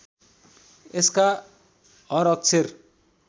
यसका हर अक्षर